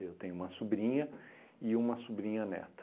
Eu tenho uma sobrinha e uma sobrinha-neta.